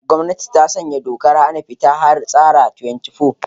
Gwamnati ta sanya dokar hana fita har tsara 24